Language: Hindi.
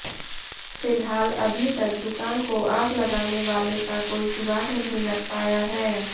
फिलहाल अभी तक दुकान को आग लगाने वाले का कोई सुराग नहीं लग पाया है